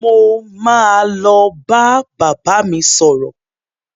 Mo ma lọ bá bàbá mi sọ̀rọ̀.